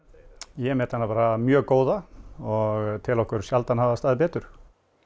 ég met hana bara mjög góða og tel okkur sjaldan hafa staðið betur